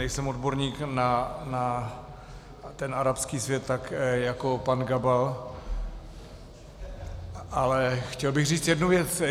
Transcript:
Nejsem odborník na ten arabský svět tak jako pan Gabal, ale chtěl bych říct jednu věc.